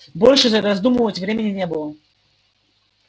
больше раздумывать времени не было